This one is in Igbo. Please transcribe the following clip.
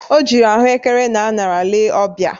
O jiri ahụekere na añara lee ọbia